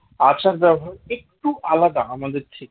আচার ব্যবহার একটু আলাদা আমাদের থেকে